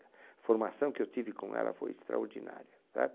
A formação que eu tive com ela foi extraordinária.